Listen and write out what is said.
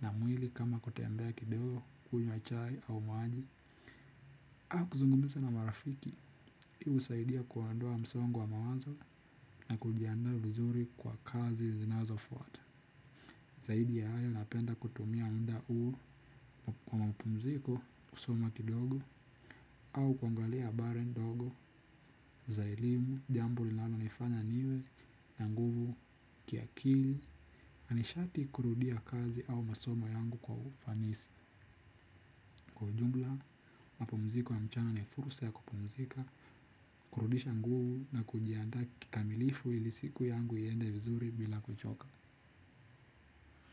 na mwili kama kutembea kidogo, kunywa chai au maji. Au kuzungumza na marafiki, hii husaidia kuondoa msongo wa mawazo na kujiandaa vizuri kwa kazi zinazofuata. Zaidi ya hayo napenda kutumia muda huu kwa mapumziko kusoma kidogo au kuangalia habari dogo za elimu jambo linalonifanya niwe na nguvu kiakili. Ni sharti kurudia kazi au masoma yangu kwa ufanisi. Kwa ujumla, mapumziko ya mchana na fursa ya kupumzika kurudisha nguvu na kujianda kikamilifu ili siku yangu iende vizuri bila kuchoka.